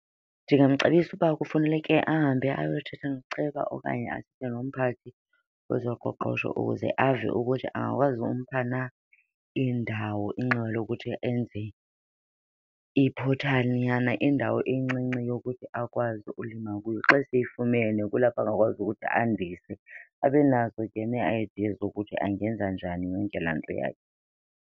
Ndingamcebisa ukuba kufuneleke ahambe ayothetha noceba okanye athethe nomphathi wezoqoqosho ukuze ave ukuthi angakwazi umpha na indawo inxiwa lokuthi enze iphothaninyana, indawo encinci yokuthi akwazi ukulima kuyo. Xa seyifumene kulapho angakwazi ukuthi andise abenazo ke nee-idea zokuthi angenza njani yonke laa nto yakhe.